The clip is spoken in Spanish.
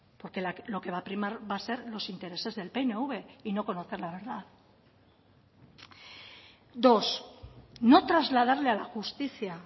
porque lo que va a primar va a ser los intereses del pnv y no conocer la verdad dos no trasladarle a la justicia